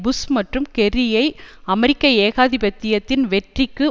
push மற்றும் Kerry ஐ அமெரிக்க ஏகாதிபத்தியத்தின் வெற்றிக்கு